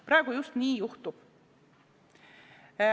Praegu just nii juhtub.